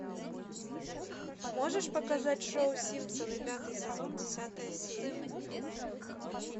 можешь показать шоу симпсоны пятый сезон десятая серия